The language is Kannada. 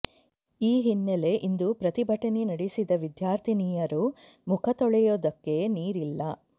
ಈ ಹಿನ್ನೆಲೆ ಇಂದು ಪ್ರತಿಭಟನೆ ನಡೆಸಿದ ವಿದ್ಯಾರ್ಥಿನೀಯರು ಮುಖ ತೊಳೆಯೊದಕ್ಕೆ ನೀರಿಲ್ಲ